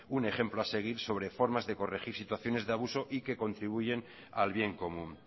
un ejemplo a seguir sobre formas de corregir situaciones de abuso y que contribuyen al bien común